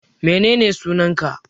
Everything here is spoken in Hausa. Menene sunan ka?